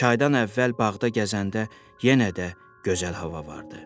Çaydan əvvəl bağda gəzəndə yenə də gözəl hava vardı.